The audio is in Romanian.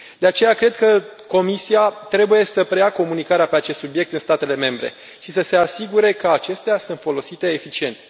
De aceea, cred că Comisia trebuie să preia comunicarea pe acest subiect de la statele membre și să se asigure că acestea sunt folosite eficient.